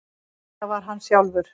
Þetta var hann sjálfur.